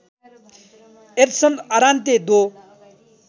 एड्सन आरान्ते दो